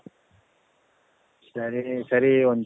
ಸರಿ ಸರಿ ಒಂದ್